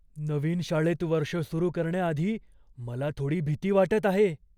नवीन शाळेत वर्ष सुरु करण्याआधी मला थोडी भीती वाटत आहे.